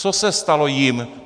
Co se stalo jim?